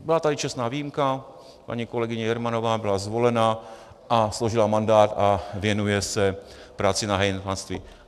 Byla tady čestná výjimka, paní kolegyně Jermanová byla zvolena a složila mandát a věnuje se práci na hejtmanství.